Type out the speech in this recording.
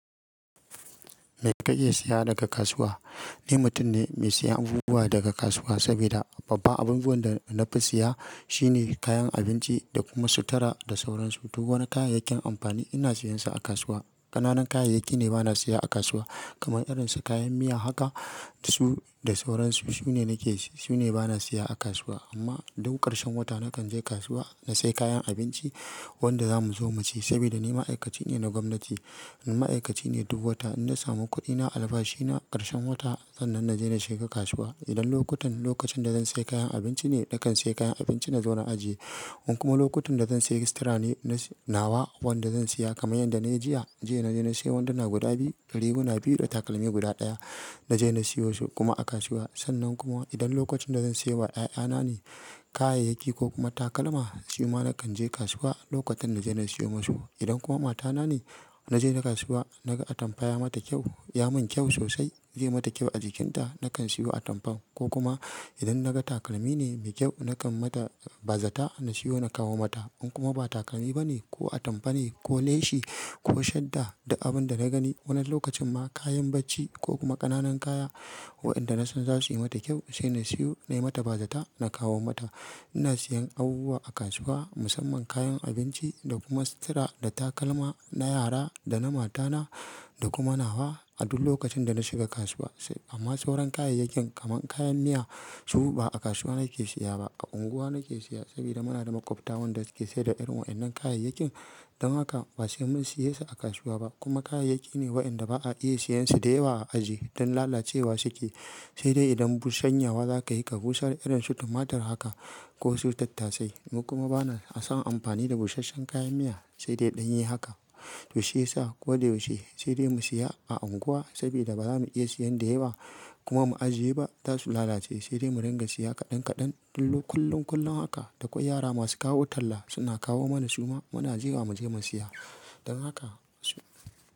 Me ka iya siya daga kasuwa? Ni mutum ne me siyan abubuwa daga kasuwa saboda babba abubuwan da na fi siya shine kayan abinci da kuma sutara da sauransu. Duk wani kayayyakin amfani ina siyansa a kasuwa. Ƙananan kayayyaki ne bana siya a kasuwa kaman irin su kayan miya haka su da sauransu. Su ne nake su ne bana siya a kasuwa. Amma duk karshen wata nakan je kasuwa na sai kayan abinci wanda zamu zoma ci saboda ni ma'aikaci ne na gwamnati. Ni ma'aikaci ne duk wata ina samu kuɗi na albashi na karshen wata sannan na je na shiga kasuwa. Idan lokutan lokacin da zan sai kayan abinci ne nakan sai kayan abinci na zau na ajiye. In kuma lokotun da zan sai sutara ne na nawa wanda zan siya kaman yadda na yi jiya. Jiya na je na siyo wandunna guda biyu, riguna biyu da takalmi guda ɗaya. Na je na siyo su kuma a kasuwa. Sannan kuma idan lokacin da zan siyowa 'ya'ya na ne kayayyaki ko kuma takalma, shi ma nakan je kasuwa lokotun na je na siyo masu. Idan kuma mata na ne na je na kasuwa na ga atampa ya mata kyau, ya mun kyau sosai. Zai mata kyau a jikinta. Nakan siyo atampan ko kuma idan na ga takalmi ne me kyau, nakan mata bazata na siyo na kawo mata. In kuma ba takalmi ba ne ko atampa ne ko leshi ko shadda duk abin da na gani wani lokacin ma kayan bacci ko kuma ƙananan kaya wa'inda na san za su yi mata kyau sai na siyo. Na yi mata bazata na kawo mata. Ina siyan abubuwa a kasuwa musamman kayan abinci da kuma sutara da takalma na yara da na mata na da kuma nawa a duk lokacin da na shiga kasuwa. Amma sauran kayayyakin kaman kayan miya su ba a kasuwa nake siya ba. A unguwa nake siya saboda muna da makwabta wadanda su ke saida irin wa'innan kayayyakin. Dan haka ba sai mun siye su a kasuwa ba kuma kayayyaki ne wa'inda ba a iya siyansu da yawa a ajiye. Dan lalacewa suke. Sai dai idan bushanyawa zaka yi ka bushar irin su tumatur haka ko su tattasai. Mu kuma bana son amfani da busashen kayan miya sai dai in dan yi haka. To shi ya sa ko dai yaushe sai dai mu siya a unguwa saboda ba za mu iya siyan da yawa kuma mu ajiye ba. Za su lalace sai dai mu ringa siya kaɗan kaɗan kullum kullum kullum haka. Da kwai yara masu kawo talla suna kawo mana su ma muna jira mu je mu siya. Dan haka su-